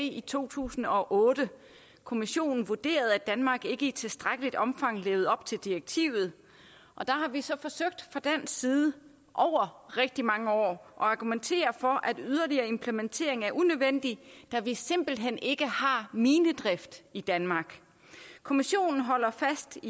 i to tusind og otte kommissionen vurderede at danmark ikke i tilstrækkeligt omfang levede op til direktivet og der har vi så fra dansk side over rigtig mange år forsøgt argumentere for at yderligere implementering var unødvendig da vi simpelt hen ikke har minedrift i danmark kommissionen holder fast